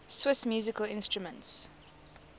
swiss musical instruments